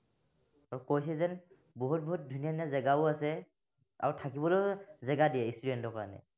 আৰু কৈছে যেন, বহুত বহুত ধুনীয়া ধুনীয়া জেগাও আছে, আৰু থাকিবলৈও জেগা দিয়ে student ৰ কাৰনে